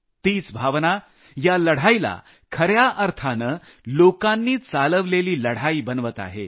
तीच भावना या लढाईला खऱ्या अर्थाने लोकांनी चालवलेली लढाई बनवत आहे